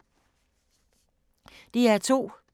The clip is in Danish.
DR2